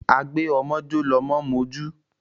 Agba ọmọ jọ́ lọmọ ń mojú.